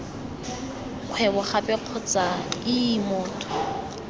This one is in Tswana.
kgwebo gape kgotsa ii motho